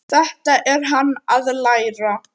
Þetta er hann að læra!